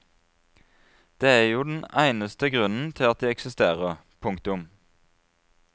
Det er jo den eneste grunnen til at de eksisterer. punktum